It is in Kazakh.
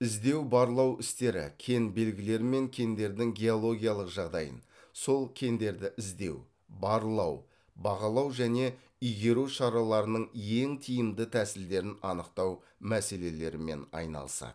іздеу барлау істері кен белгілері мен кендердің геологиялық жағдайын сол кендерді іздеу барлау бағалау және игеру шараларының ең тиімді тәсілдерін анықтау мәселелерімен айналысады